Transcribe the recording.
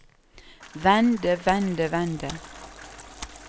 vende vende vende